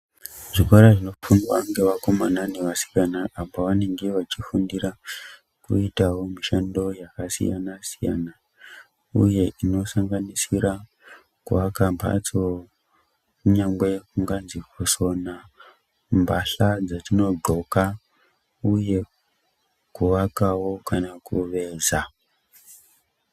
Zvikora zvinofundwa ngeakomana nevasikana apo vanenge veifundira kuitawo mishando yakasiyana siyana uye inosanganisira kuaka mbatso, kunyange kunganzi kusona mbahla dzetinodxoka, uyewo kuvakawo kana kuveza.